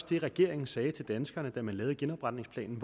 det regeringen sagde til danskerne da den lavede genopretningsplanen